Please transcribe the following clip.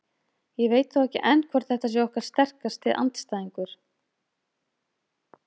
Ég veit þó ekki enn hvort þetta sé okkar sterkasti andstæðingur.